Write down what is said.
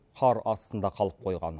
қар астында қалып қойған